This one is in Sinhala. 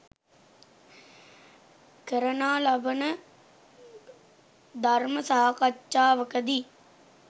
කරනා ලබන ධර්ම සාකච්ඡාවකදී